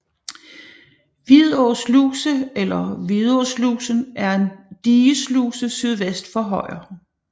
Vidå Sluse eller Vidåslusen er en digesluse sydvest for Højer